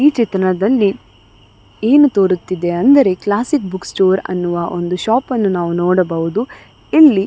ಈ ಚಿತ್ನದಲ್ಲಿ ಏನು ತೋರುತ್ತಿದೆ ಅಂದರೆ ಕ್ಲಾಸಿಕ್ ಬುಕ್ ಸ್ಟೋರ್ ಅನ್ನುವ ಒಂದು ಶಾಫ್ ಅನ್ನು ನಾವು ನೋಡಬಹುದು ಇಲ್ಲಿ --